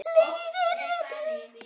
Líður betur.